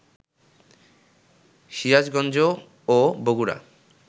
সিরাজগঞ্জ ও বগুড়া